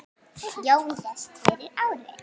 Jón lést fyrir ári.